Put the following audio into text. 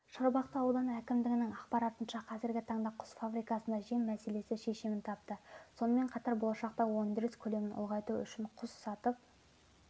шарбақты ауданы әкімдігінің ақпаратынша қазіргі таңда құс фабрикасында жем мәселесі шешімін тапты сонымен қатар болашақта өндіріс көлемін ұлғайту үшін құс сатып